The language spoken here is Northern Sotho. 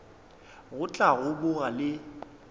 go tla go boga le